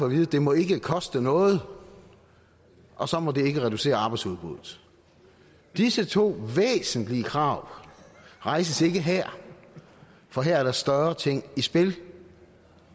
vide det må ikke koste noget og så må det ikke reducere arbejdsudbuddet disse to væsentlige krav rejses ikke her for her er der større ting i spil